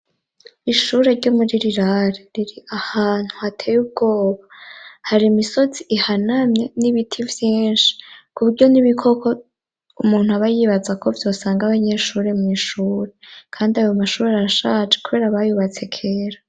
Ishure ryo muri rirare riri ahantu hateye ubwoba hari imisozi ihanamye n'ibiti vyinshi kuburyo n'ibikoko umuntu aba yibaza ko vyosanga abanyeshuri mw’ishure kandi ayo mashuri arashaje kubera bayubatse kera.